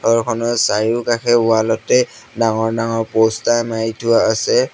ঘৰখনৰ চাৰিওকাষে ৱাল তে ডাঙৰ ডাঙৰ পোষ্টাৰ মাৰি থোৱা আছে।